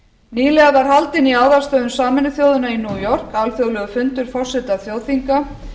nýlega var haldinn í aðalstöðvum sameinuðu þjóðanna í new york alþjóðlegur fundur forseta þjóðþinga